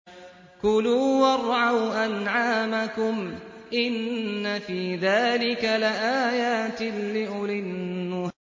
كُلُوا وَارْعَوْا أَنْعَامَكُمْ ۗ إِنَّ فِي ذَٰلِكَ لَآيَاتٍ لِّأُولِي النُّهَىٰ